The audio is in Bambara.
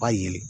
Ba yelen